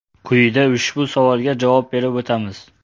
Quyida ushbu savolga javob berib o‘tamiz.